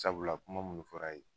Sabula kuma munnu fɔ la ye.